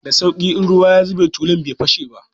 Da sauƙi, in ruwa ya zube tulun bai fashe ba.